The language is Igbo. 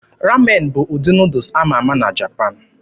Ramen bụ ụdị Nuudus ama ama na Japan